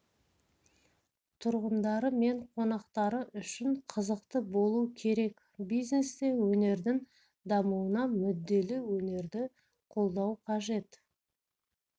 тұрғындары мен қонақтары үшін қызықты болу керек бизнес те өнердің дамуына мүдделі өнерді қолдау қажет